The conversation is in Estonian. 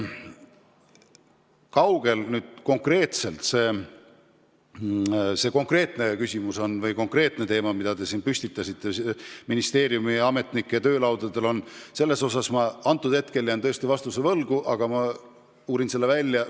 Kaugel selle konkreetse eelnõuga, millest te siin rääkisite, ministeeriumi ametnikud on, selles osas jään hetkel vastuse võlgu, aga ma uurin selle välja.